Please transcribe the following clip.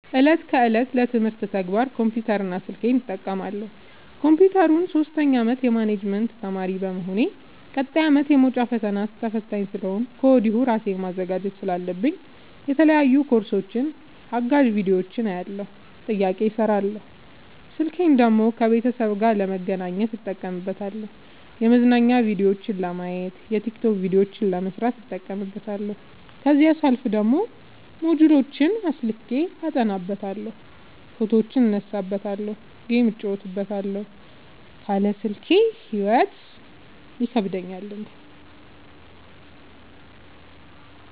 እለት ከእለት ለትምህርት ተግባር ኮምፒውተር እና ስልኬን እጠቀማለሁ። ኮንፒውተሩን ሶስተኛ አመት የማኔጅመት ተማሪ በመሆኔ ቀጣይ አመትም የመውጫ ፈተና ተፈታኝ ስለሆንኩኝ ከወዲሁ እራሴን ማዘጋጀት ስላለብኝ የተለያዩ ኮርሶችን አጋዝ ቢዲዮዎችን አያለሁ። ጥያቄዎችን እሰራለሁ። ስልኬን ደግሞ ከቤተሰብ ጋር ለመገናኘት እጠቀምበታለሁ የመዝናኛ ቭዲዮዎችን ለማየት። የቲክቶክ ቪዲዮዎችን ለመስራት እጠቀምበታለሁ። ከዛሲያልፍ ደግሞ ሞጅልዎችን አስልኬ አጠናበታለሁ። ፎቶዎችን እነሳበታለሀለ። ጌም እጫወትበታለሁ ካለ ስልኬ ሂይወት ይከብደኛል እኔ።